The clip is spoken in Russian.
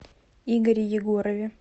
игоре егорове